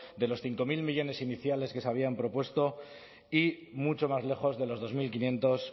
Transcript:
de los cinco mil millónes iniciales que se habían propuesto y mucho más lejos de los dos mil quinientos